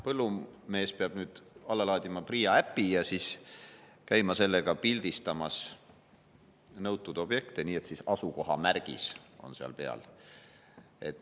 Põllumees peab nüüd alla laadima PRIA äpi ja siis käima pildistamas nõutud objekte, nii et asukohamärgis on peal.